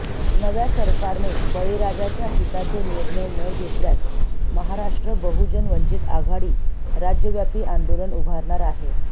नव्या सरकारने बळीराजाच्या हिताचे निर्णय न घेतल्यास महाराष्ट्र बहुजन वंचित आघाडी राज्यव्यापी आंदोलन उभारणार आहे